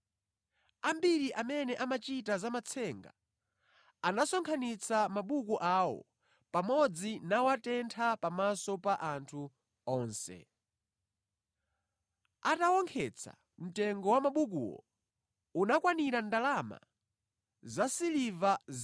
Ambiri amene amachita za matsenga anasonkhanitsa mabuku awo pamodzi nawatentha pamaso pa anthu onse. Atawonkhetsa mtengo wa mabukuwo, unakwanira ndalama zasiliva 50,000.